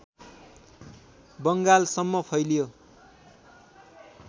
बङ्गालसम्म फैलियो